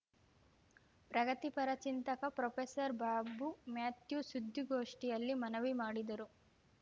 ಪ್ರಗತಿಪರ ಚಿಂತಕ ಪ್ರೊಫೆಸರ್ ಬಾಬು ಮ್ಯಾಥ್ಯೂ ಸುದ್ಧಿಗೋಷ್ಠಿಯಲ್ಲಿ ಮನವಿ ಮಾಡಿದರು